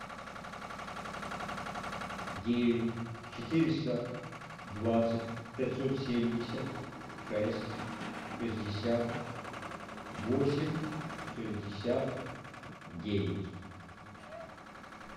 девять четыреста двадцать пятьсот семьдесят шесть шестьдесят восемь шестьдесят девять